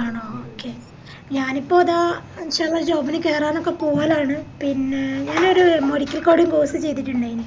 ആണോ okay ഞാനിപ്പോ അതാ ചെറിയൊരു job ന് കേറാനൊക്കെ പോണതാണ് പിന്നെ ഞാനൊരു medical coding course ചെയ്തിറ്റിണ്ടായിന്